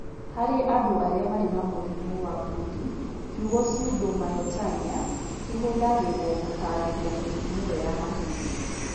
Harĩ andũ arĩa marĩ na mũrimũ wa Brody, kiugo pseudomyotonia kĩhũthagĩrũo gũtaarĩria mĩrimũ ĩyo ya mahĩndĩ.